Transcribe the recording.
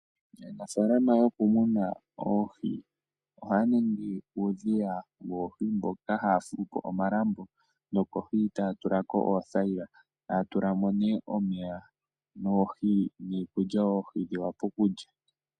Aanafaalama yokumuna oohi ohaya ningi uudhiya woohi mpoka haya fulu po omalambo nokohi taya tulako oothayila etaya tulamo nee omeya niikulya opo oohi dhivule okulya.